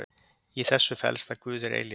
Í þessu felst að Guð er eilífur.